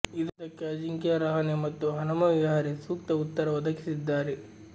ಇದಕ್ಕೆ ಅಜಿಂಕ್ಯ ರಹಾನೆ ಮತ್ತು ಹನುಮ ವಿಹಾರಿ ಸೂಕ್ತ ಉತ್ತರ ಒದಗಿಸಿದ್ದಾರೆ